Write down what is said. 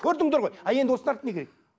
көрдіңдер ғой ал енді осыдан артық не керек